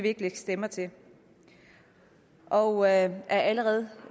ikke lægge stemmer til og af allerede